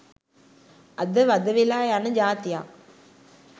අද වද වෙලා යන ජාතියක්